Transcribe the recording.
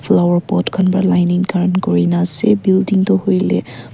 flower pot khan ba lining khan kurina ase building tu huile.